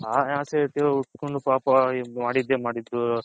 ಹ ಇಟ್ಕೊಂಡ್ ಪಾಪ ಮಾಡಿದೆ ಮಾಡಿದು